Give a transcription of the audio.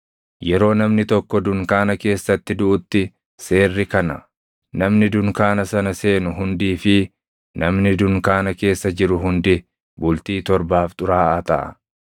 “Yeroo namni tokko dunkaana keessatti duʼutti seerri kana: Namni dunkaana sana seenu hundii fi namni dunkaana keessa jiru hundi bultii torbaaf xuraaʼaa taʼa;